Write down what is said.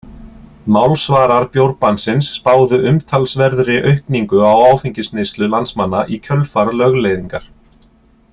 Málsvarar bjórbannsins spáðu umtalsverðri aukningu á áfengisneyslu landsmanna í kjölfar lögleiðingar.